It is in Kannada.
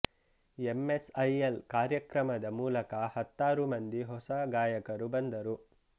ಎಂ ಎಸ್ ಐ ಎಲ್ ಕಾರ್ಯಕ್ರಮದ ಮೂಲಕ ಹತ್ತಾರು ಮಂದಿ ಹೊಸ ಗಾಯಕರು ಬಂದರು